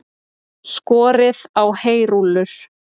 Skorið á heyrúllur